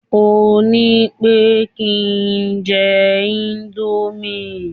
o nipé kí njé Indomie